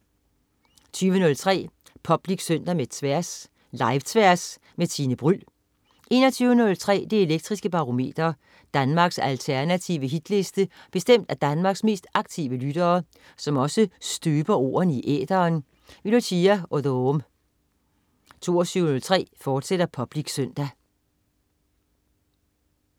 20.03 Public Søndag med Tværs. Live-Tværs med Tine Bryld 21.03 Det elektriske Barometer. Danmarks alternative hitliste bestemt af Danmarks mest aktive lyttere, som også støber ordene i æteren. Lucia Odoom 22.03 Public Søndag, fortsat